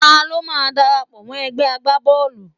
Ta ló máa darapọ̀ mọ́ egbe agbá Bọ́ọ̀lù.?